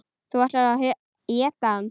Þú ætlaðir að éta hana.